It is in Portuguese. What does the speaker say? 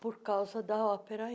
por causa da ópera.